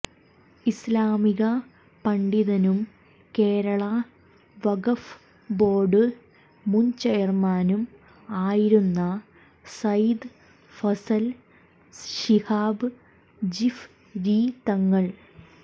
ഇസ്ലാമിക പണ്ഡിതനും കേരള വഖഫ് ബോർഡ് മുൻ ചെയർമാനും ആയിരുന്നു സയ്യിദ് ഫസൽ ശിഹാബ് ജിഫ് രി തങ്ങൾ